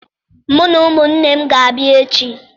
Mụ na ụmụnne m ga-abịa echi.